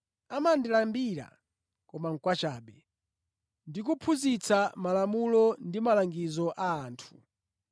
Amandilambira Ine kwachabe ndi kuphunzitsa malamulo ndi malangizo a anthu.’ ”